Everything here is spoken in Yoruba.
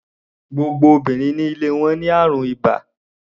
Gbogbo obìnrin ní ilé wọn ní àrùn ibà.